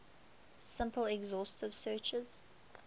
simple exhaustive searches